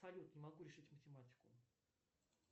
салют не могу решить математику